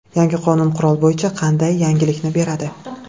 Yangi qonun qurol bo‘yicha qanday yengillikni beradi?